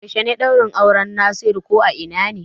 Yaushe ne lokacin ɗaurin auran Nasiru ko a ina ne?